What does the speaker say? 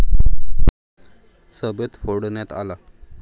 सभेत फोडण्यात आला.